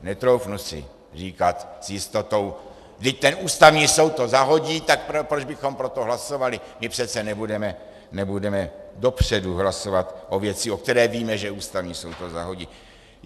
Netroufnu si říkat s jistotou: vždyť ten Ústavní soud to zahodí, tak proč bychom pro to hlasovali, my přece nebudeme dopředu hlasovat o věci, o které víme, že Ústavní soud to zahodí.